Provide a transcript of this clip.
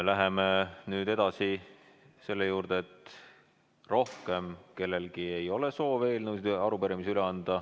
läheme nüüd edasi selle juurde, et rohkem ei ole kellelgi soovi anda üle eelnõusid ega arupärimisi.